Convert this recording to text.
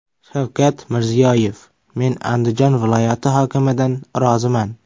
Shavkat Mirziyoyev: Men Andijon viloyati hokimidan roziman.